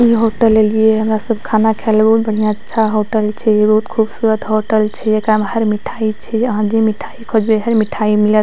इ होटल एलिए ये हमरा सब खाना खाए ले उ बढ़िया अच्छा होटल छै बहुत खूबसूरत होटल छै एकरा मे हर मिठाई छै अहां जे मिठाई खोजबे हर मिठाई मिलत --